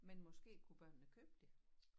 Men måske kunne børnene købe det?